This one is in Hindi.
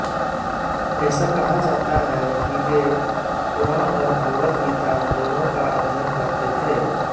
ऐसा कहा जाता है कि वे क़ुरान और भगवद् गीता दोनों का अध्ययन करते थे